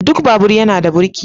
Duk babur yana da burki.